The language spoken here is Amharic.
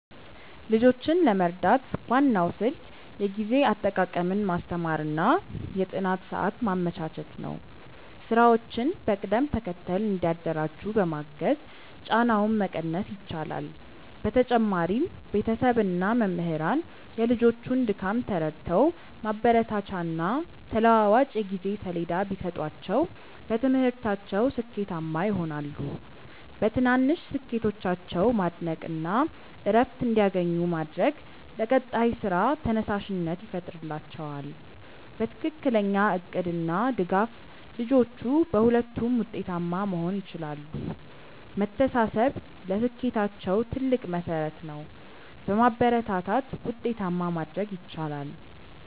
ልጆችን ለመርዳት ዋናው ስልት የጊዜ አጠቃቀምን ማስተማር እና የጥናት ሰዓት ማመቻቸት ነው። ስራዎችን በቅደም ተከተል እንዲያደራጁ በማገዝ ጫናውን መቀነስ ይቻላል። በተጨማሪም ቤተሰብ እና መምህራን የልጆቹን ድካም ተረድተው ማበረታቻና ተለዋዋጭ የጊዜ ሰሌዳ ቢሰጧቸው በትምህርታቸው ስኬታማ ይሆናሉ። በትናንሽ ስኬቶቻቸው ማድነቅ እና እረፍት እንዲያገኙ ማድረግ ለቀጣይ ስራ ተነሳሽነት ይፈጥርላቸዋል። በትክክለኛ እቅድ እና ድጋፍ ልጆቹ በሁለቱም ውጤታማ መሆን ይችላሉ። መተሳሰብ ለስኬታቸው ትልቅ መሠረት ነው። በማበረታታት ውጤታማ ማድረግ ይቻላል።